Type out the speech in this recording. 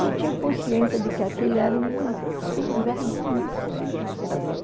Eu tinha consciência de que aquilo era uma sem-vergonhice deles também.